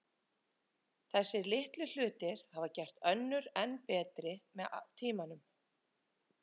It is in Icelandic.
Þessir litlu hlutir hafa gert önnur enn betri með tímanum.